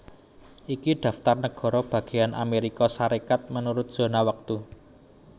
Iki daftar nagara bagéyan Amérika Sarékat miturut zona wektu